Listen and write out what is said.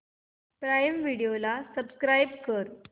prime video ला subscribe कर